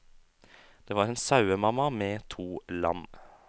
Det var en sauemamma med to lam.